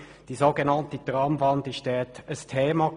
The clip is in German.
Die so genannte «Tramwand» war dabei ein Thema.